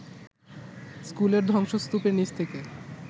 স্কুলের ধ্বংসস্তূপের নিচ থেকে